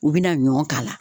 U bena ɲɔ k'a la